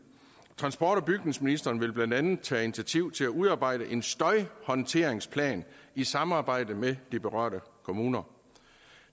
transport og bygningsministeren vil blandt andet tage initiativ til at udarbejde en støjhåndteringsplan i samarbejde med de berørte kommuner